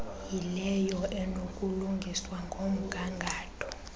yileyo enokulungiswa ngomgangatho